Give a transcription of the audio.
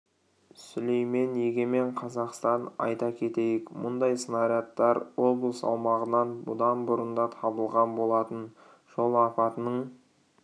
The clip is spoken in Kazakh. сүлеймен егемен қазақстан айта кетейік мұндай снарядтар облыс аумағынан бұдан бұрын да табылған болатын жол апатының